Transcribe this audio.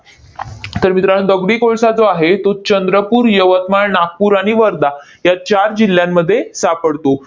तर मित्रांनो, दगडी कोळसा जो आहे, तो चंद्रपूर, यवतमाळ, नागपूर आणि वर्धा या चार जिल्ह्यांमध्ये सापडतो.